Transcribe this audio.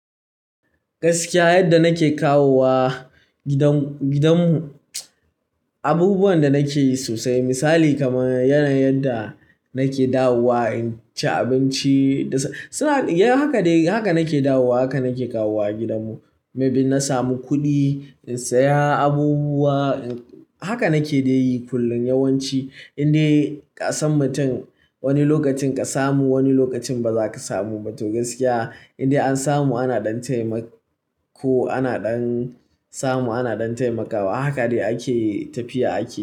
Gaskiya yadda nake kawowa gidanmu, abubuwan da nake yi sosai misali kamar yanayin da nake dawowa in ci abinci. Haka nake dawowa, haka nake kawowa gidanmu. Maybe in na samu kuɗi in saya abubuwa. Haka nake yi kullum yawanci indai ƙasan mutum wani lokacin ka samu, wani lokacin ba za ka samu ba to gaskiya in dai an samu ana ɗan taimako. Ana ɗan samu, ana ɗan taimakawa. Haka ne ake tafiya ake yi.